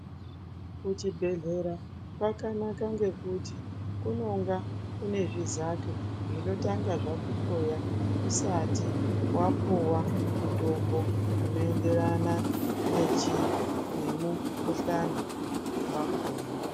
Kuchibhedhlera kwakanaka ngekuti kunonga kune zvizato zvinotanga zvakukoya usati wapuwa mutombo unoenderana nemukuhlani wakona.